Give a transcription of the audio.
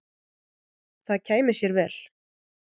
Það kæmi sér vel.